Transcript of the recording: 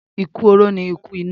Ikú oró ni ikú ìná.